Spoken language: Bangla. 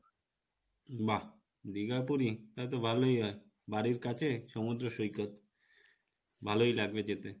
বাহ দীঘা, পুরি? তালে তো ভালোই হয় বাড়ির কাছে সমুদ্র সৈকত ভালোই লাগবে যেতে